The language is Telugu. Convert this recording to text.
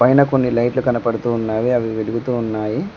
పైన కొన్ని లైట్లు కనపడుతూ ఉన్నావి అవి వెలుగుతూ ఉన్నాయి.